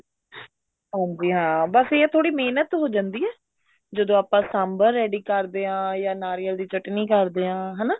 ਹੋਊਗੀ ਹਾਂ ਬੱਸ ਇਹ ਹੈ ਥੋੜੀ ਮਿਹਨਤ ਹੀ ਜਾਂਦੀ ਹੈ ਜਦੋਂ ਆਪਾਂ ਸਾਂਬਰ ready ਕਰਦੇ ਹਾਂ ਜਾਂ ਨਾਰੀਅਲ ਦੀ ਚਟਨੀ ਕਰਦੇ ਹਾਂ ਹਨਾ